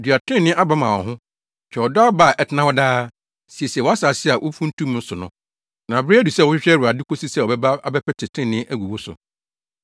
Dua trenee aba ma wo ho, twa ɔdɔ aba a ɛtena hɔ daa, siesie wʼasase a womfuntumii so no; na bere adu sɛ wohwehwɛ Awurade, kosi sɛ ɔbɛba abɛpete trenee agu wo so.